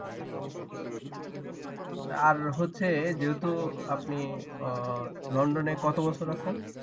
আর হচ্ছে যেহেতু আপনি উম লন্ডনে কত বছর আছেন?